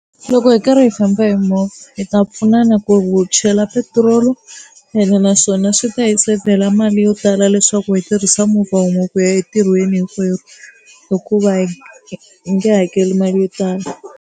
Loko hi karhi hi famba hi movha hi ta pfunana ku wu chela petiroli ene naswona swi ta hi sevhela mali yo tala leswaku hi tirhisa movha wun'we ku ya entirhweni hinkwerhu hikuva hi nge hakeli mali yo tala.